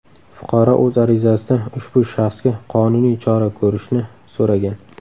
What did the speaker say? Fuqaro o‘z arizasida ushbu shaxsga qonuniy chora ko‘rishni so‘ragan.